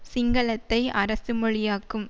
சிங்களத்தை அரசு மொழியாக்கும்